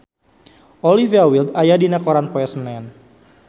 Olivia Wilde aya dina koran poe Senen